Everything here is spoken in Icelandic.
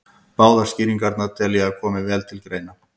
Báðar skýringarnar tel ég að komi vel til greina.